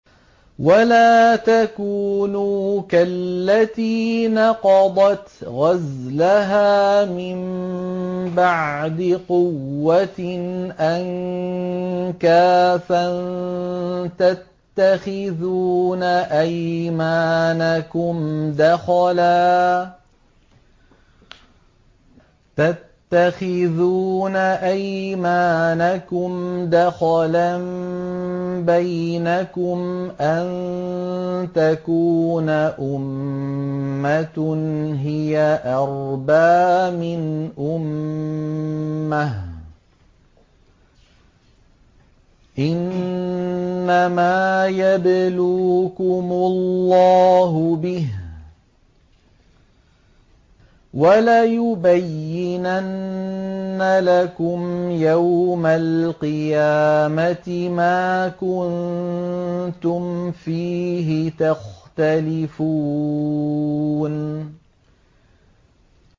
وَلَا تَكُونُوا كَالَّتِي نَقَضَتْ غَزْلَهَا مِن بَعْدِ قُوَّةٍ أَنكَاثًا تَتَّخِذُونَ أَيْمَانَكُمْ دَخَلًا بَيْنَكُمْ أَن تَكُونَ أُمَّةٌ هِيَ أَرْبَىٰ مِنْ أُمَّةٍ ۚ إِنَّمَا يَبْلُوكُمُ اللَّهُ بِهِ ۚ وَلَيُبَيِّنَنَّ لَكُمْ يَوْمَ الْقِيَامَةِ مَا كُنتُمْ فِيهِ تَخْتَلِفُونَ